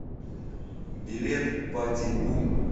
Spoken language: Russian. билет пати бум